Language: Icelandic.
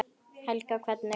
Helga: Hvernig?